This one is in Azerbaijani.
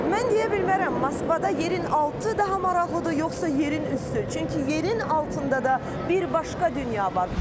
Mən deyə bilmərəm Moskvada yerin altı daha maraqlıdır yoxsa yerin üstü, çünki yerin altında da bir başqa dünya var.